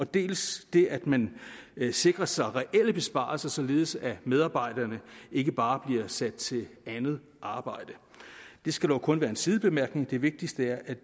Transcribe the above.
dels det at man sikrer sig reelle besparelser således at medarbejderne ikke bare bliver sat til andet arbejde det skal dog kun være en sidebemærkning det vigtigste er